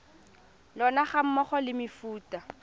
lona ga mmogo le mefuta